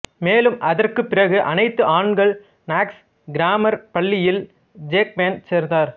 மேலும் அதற்குப்பிறகு அனைத்து ஆண்கள் நாக்ஸ் கிராமர் பள்ளியில் ஜேக்மேன் சேர்ந்தார்